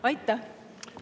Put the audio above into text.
Aitäh!